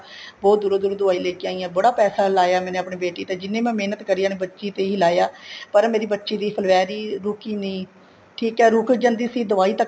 ਬਹੁਤ ਦੂਰੋ ਦੂਰੋ ਦਵਾਈ ਲੈਕੇ ਆਈ ਹਾਂ ਬੜਾ ਪੈਸਾ ਲਾਇਆ ਮੈਨੇ ਆਪਣੀ ਬੇਟੀ ਤੇ ਜਿੰਨੀ ਮੈ ਮਹਿਨਤ ਕਰੀ ਹੈ ਬੱਚੀ ਤੇ ਹੈ ਲਾਇਆ ਪਰ ਮੇਰੀ ਬੱਚੀ ਦੀ ਫੂਲਵੈਰੀ ਰੁੱਕੀ ਨਹੀਂ ਠੀਕ ਏ ਰੁੱਕ ਜਾਂਦੀ ਸੀ ਦਵਾਈ ਤੱਕ